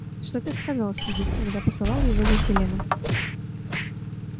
что ты сказал спиди когда посылал его за селеном